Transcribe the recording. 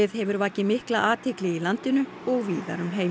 hefur vakið mikla athygli í landinu og víðar um heim